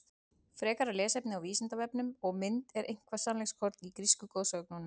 Frekara lesefni á Vísindavefnum og mynd Er eitthvert sannleikskorn í grísku goðsögunum?